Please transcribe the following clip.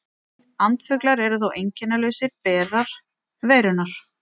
Andfuglar eru þó einkennalausir berar veirunnar.